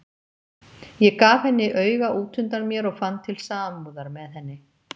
Ég gaf henni auga útundan mér og fann til samúðar með henni.